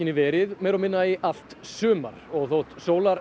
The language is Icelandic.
verið meira og minna í allt sumar og þótt